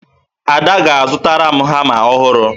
Ada ga-azụta hama ọhụrụ